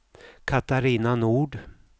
Catarina Nord